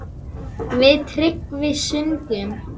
Við Tryggvi sungum